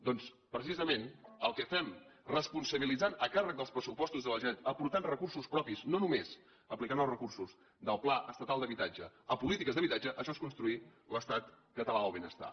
doncs precisament el que fem responsabilitzant a càrrec dels pressupostos de la generalitat aportant recursos propis no només aplicant els recursos del pla estatal d’habitatge a polítiques d’habitatge això és construir l’estat català del benestar